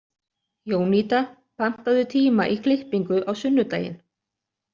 Jónída, pantaðu tíma í klippingu á sunnudaginn.